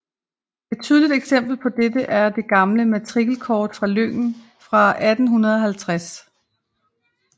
Et tydeligt eksempel på dette er det gamle matrikelkort fra lyngen fra 1850